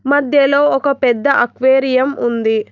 మధ్యలో ఒక పెద్ద అక్వేరియం ఉంది.